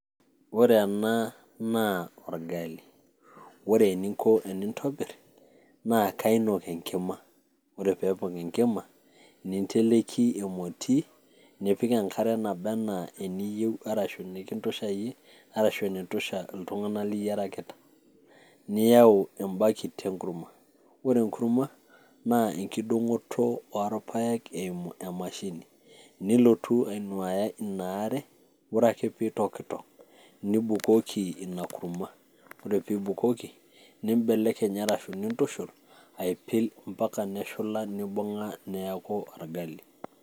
Ore ena, naa orgali. Ore eningo tenintobirr, naa kainok enkima. Ore pepok enkima, ninteleki emoti, nipik enkare naba enaa eniyieu arashu nikintusha yie, arashu enaitusha iltung'anak liyiarakita. Niyau ebakit enkurma. Ore enkurma, na enkiding'oto orpaek eimu emashini. Nilotu ainuaya inaare. Ore ake pitokitok, nibukoki ina kurma. Ore pibukoki, nibelekeny, arashu nintushul, aipil mpaka neshula, nibung'a neeku orgali.